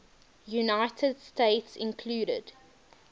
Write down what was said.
united states include